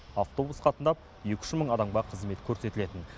автобус қатынап екі үш мың адамға қызмет көрсетілетін